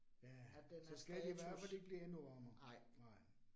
Ja, så skal det i hvert fald ikke blive endnu varmere. Nej